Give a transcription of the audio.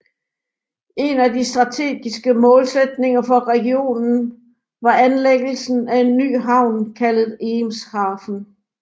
En af de stategiske målsætninger for regionen var anlæggelsen af en ny havn kaldet Eemshaven